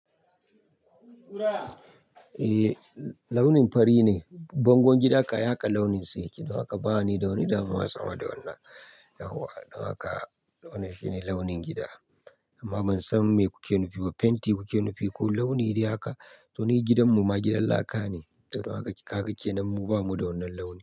Eh launin fari ne. Bangon gida kaya aka launin sa yake. Don haka ba ni da wani damuwa sama da wannan. Don haka wannan shine launin gida. Amma ban san me kuke nufi ba. Fenti kuke nufi ko launi dai haka? To ni gidanmu ma gidan laka ne. Don haka kaka kenan mu, ba mu da wannan launi.